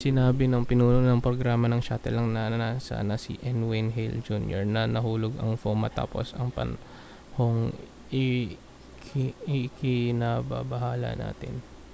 sinabi ng pinuno ng programa ng shuttle ng nasa na si n wayne hale jr na nahulog ang foam matapos ang panahong ikinababahala natin